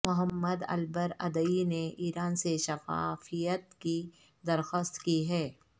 محمد ElBaradei نے Iran سے شفافیت کی درخواست کی ہے